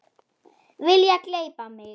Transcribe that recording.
Vilja gleypa mig.